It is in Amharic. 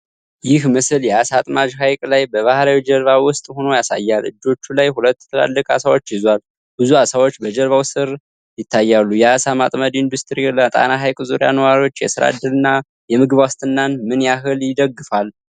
ይህ ምስል የዓሣ አጥማጅ ሐይቅ ላይ በባህላዊ ጀልባ ውስጥ ሆኖ ያሳያል። እጆቹ ላይ ሁለት ትላልቅ ዓሣዎች ይዟል፤ ብዙ ዓሣዎች በጀልባው ስር ይታያሉ። የዓሣ ማጥመድ ኢንዱስትሪ ለጣና ሐይቅ ዙሪያ ነዋሪዎች የሥራ ዕድልና የምግብ ዋስትናን ምን ያህል ይደግፋል?